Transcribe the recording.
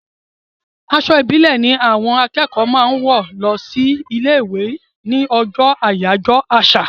Aṣọ ìbílẹ̀ ni àwọn akẹ́kọ̀ọ́ máa ń wọ̀ lọ sí ilé-ìwé ní ọjọ́ àyájọ́ àṣà.